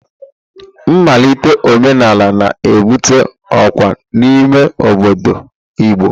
Nmalite omenala na-ebute ọkwa n'ime obodo Igbo.